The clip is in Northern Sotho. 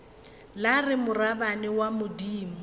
la re morabana wa bodimo